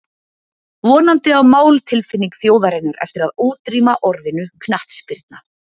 Vonandi á máltilfinning þjóðarinnar eftir að útrýma orðinu knattspyrna.